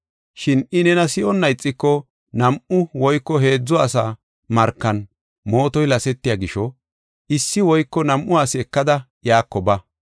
Shin I nena si7onna ixiko, nam7u woyko heedzu asa markan mootoy lasetiya gisho, issi woyko nam7u asi ekada iyako ba.